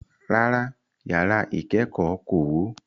Rárá, yàrá ìkẹ́kọ̀ọ́ kò wó.